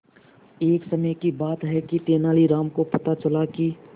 एक समय की बात है कि तेनालीराम को पता चला कि